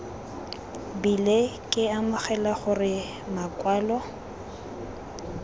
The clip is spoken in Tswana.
bile ke amogela gore makwalo